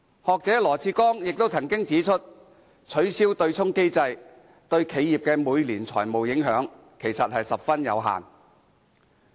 學者羅致光亦曾經指出，取消對沖機制對企業的每年財務影響其實十分有限。